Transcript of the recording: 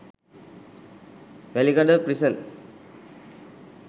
welikada prison